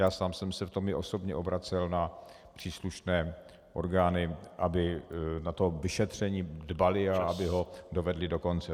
Já sám jsem se v tom i osobně obracel na příslušné orgány, aby na ta vyšetření dbaly a aby ho dovedly do konce.